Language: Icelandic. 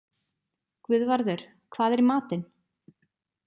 Guðvarður, hvað er í matinn?